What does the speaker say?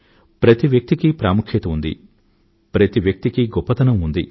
ప్రతి వ్యక్తికీ ప్రాముఖ్యం ఉంది ప్రతి వ్యక్తికీ గొప్పదనం ఉంది